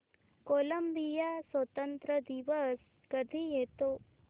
Colombia स्वातंत्र्य दिवस कधी येतो